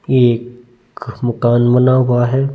एक मकान बना हुआ है।